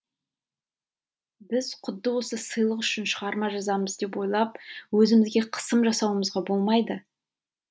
біз құдды осы сыйлық үшін шығарма жазамыз деп ойлап өзімізге қысым жасауымызға болмайды